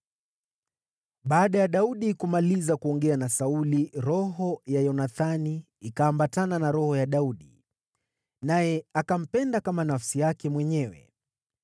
Baada ya Daudi kumaliza kuongea na Sauli, roho ya Yonathani ikaambatana na roho ya Daudi, naye akampenda kama nafsi yake mwenyewe.